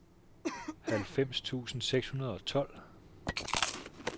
halvfems tusind seks hundrede og tolv